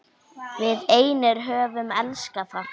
Við einir höfum elskað það.